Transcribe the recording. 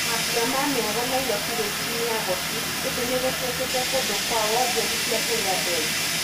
Mambũra ma mĩago Nairobi rĩu to mĩago tu, ĩndi nĩgũtwĩkĩte kũndũ kwa wonjorithia kurĩ andũ aingĩ.